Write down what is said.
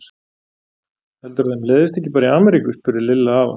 Heldurðu að þeim leiðist ekki bara í Ameríku? spurði Lilla afa.